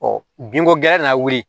binko gɛlɛya nana wuli